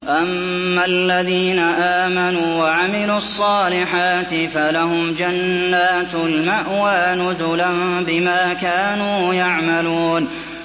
أَمَّا الَّذِينَ آمَنُوا وَعَمِلُوا الصَّالِحَاتِ فَلَهُمْ جَنَّاتُ الْمَأْوَىٰ نُزُلًا بِمَا كَانُوا يَعْمَلُونَ